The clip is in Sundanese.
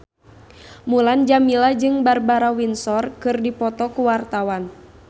Mulan Jameela jeung Barbara Windsor keur dipoto ku wartawan